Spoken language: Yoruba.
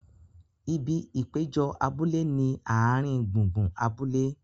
Ibi ìpéjọ abúlé ni ààrin gbùngbùn abúlé.